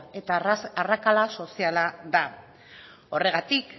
eta arrakala soziala da horregatik